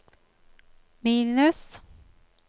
minus